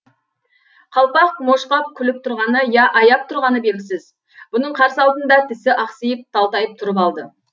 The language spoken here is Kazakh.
қалпақ мошқап күліп тұрғаны я аяп тұрғаны белгісіз бұның қарсы алдында тісі ақсиып талтайып тұрып алды